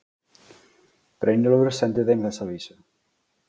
Brynjólfur sendi þeim þessa vísu